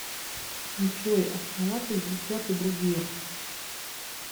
джой основатель взгляд и другие